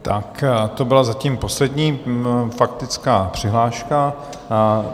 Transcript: Tak to byla zatím poslední faktická přihláška.